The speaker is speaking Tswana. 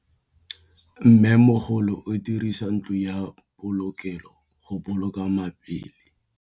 Mmêmogolô o dirisa ntlo ya polokêlô, go boloka mabele.